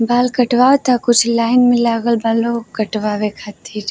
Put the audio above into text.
बाल कटवाता। कुछ लाइन में लागल बा लोग कटवाए खातिर।